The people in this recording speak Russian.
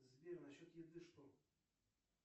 сбер на счет еды что